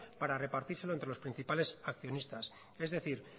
para repartírselo entre los principales accionistas es decir